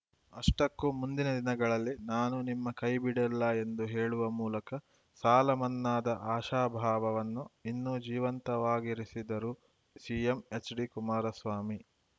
ಅಷ್ಟಕ್ಕೂ ಮುಂದಿನ ದಿನಗಳಲ್ಲಿ ನಾನು ನಿಮ್ಮ ಕೈಬಿಡಲ್ಲ ಎಂದು ಹೇಳುವ ಮೂಲಕ ಸಾಲಮನ್ನಾದ ಆಶಾಭಾವವನ್ನು ಇನ್ನು ಜೀವಂತವಾಗಿರಿಸಿದರು ಸಿಎಂ ಎಚ್‌ಡಿ ಕುಮಾರಸ್ವಾಮಿ